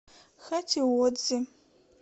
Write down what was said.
хатиодзи